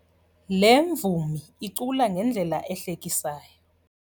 Le mvumi icula ngendlela ehlekisayo.